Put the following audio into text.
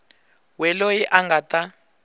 we loyi a nga ta